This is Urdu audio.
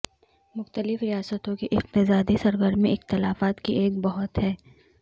مختلف ریاستوں کی اقتصادی سرگرمی اختلافات کی ایک بہت ہے